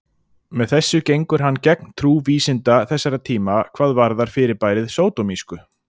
Með þessu gengur hann gegn trú vísinda þessara tíma hvað varðar fyrirbærið sódómísku.